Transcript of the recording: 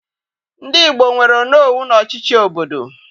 Ndị Igbo nwere onowu n'ọchịchị obodo